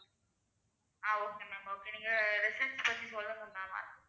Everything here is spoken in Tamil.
ஆஹ் okay ma'am okay நீங்க resorts பத்தி சொல்லுங்க ma'am.